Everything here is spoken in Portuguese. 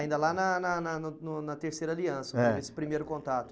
Ainda lá na na na no no na terceira aliança, eh, teve esse primeiro contato.